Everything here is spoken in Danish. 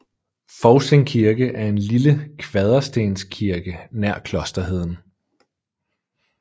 Fousing Kirke er en lille kvaderstenskirke nær Klosterheden